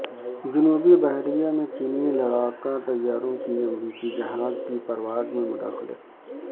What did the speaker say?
جنوبی بحیرہ میں چینی لڑاکا طیاروں کی امریکی جہاز کی پرواز میں مداخلت